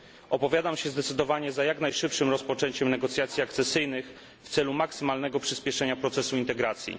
Opowiadam się zdecydowanie za jak najszybszym rozpoczęciem negocjacji akcesyjnych w celu maksymalnego przyspieszenia procesu integracji.